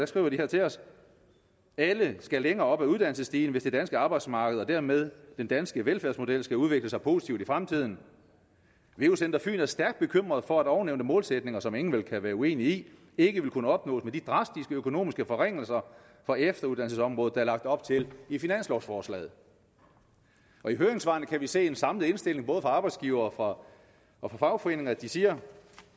skriver her til os alle skal længere op ad uddannelsesstigen hvis det danske arbejdsmarked og dermed den danske velfærdsmodel skal udvikle sig positivt i fremtiden veu center fyn er stærkt bekymret for at ovennævnte målsætninger som ingen vel kan være uenig i ikke vil kunne opnås med de drastiske økonomiske forringelser for efteruddannelsesområdet der er lagt op til i finanslovforslaget i høringssvarene kan vi se en samlet indstilling fra arbejdsgivere og og fagforeninger de siger